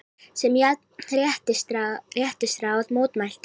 sem Jafnréttisráð mótmælti.